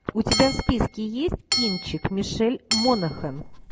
у тебя в списке есть кинчик мишель монахэн